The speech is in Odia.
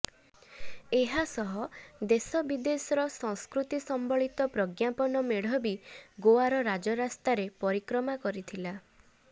ଏହାସହ ଦେଶ ବିଦେଶର ସଂସ୍କୃତି ସମ୍ବଳିତ ପ୍ରଜ୍ଞାପନ ମେଢ ବି ଗୋଆର ରାଜରାସ୍ତାରେ ପରିକ୍ରମା କରିଥିଲା